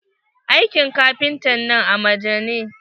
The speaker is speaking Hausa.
Aikin kafintan nan amaja ne.